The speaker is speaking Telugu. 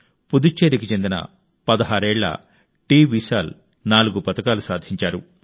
పుదుచ్చేరికి చెందిన 16 ఏళ్ల టివిశాల్ నాలుగు పతకాలు సాధించారు